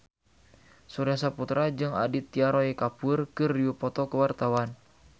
Surya Saputra jeung Aditya Roy Kapoor keur dipoto ku wartawan